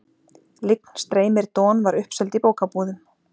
Lygn streymir Don var uppseld í bókabúðum.